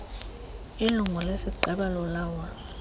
ilungu lesigqeba lolawulo